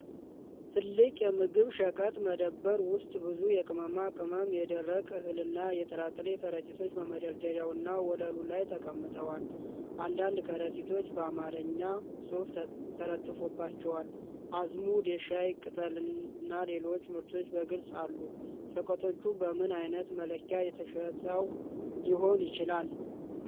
ትልቅ የምግብ ሸቀጥ መደብር ውስጥ ብዙ የቅመማ ቅመም፣ የደረቀ እህልና የጥራጥሬ ከረጢቶች በመደርደሪያና ወለሉ ላይ ተቀምጠዋል። አንዳንድ ከረጢቶች በአማርኛ ጽሑፍ ተለጥፈውባቸዋል፡፡ አዝሙድ፣ የሻይ ቅጠልና ሌሎችም ምርቶች በግልፅ አሉ። ሸቀጦቹ በምን ዓይነት መለኪያ ተሽጠው ሊሆን ይችላል?